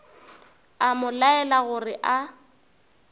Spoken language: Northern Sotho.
a mo laela gore a